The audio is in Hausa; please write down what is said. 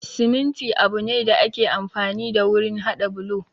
Siminti abu ne da ake amfani da wurin haɗa bulo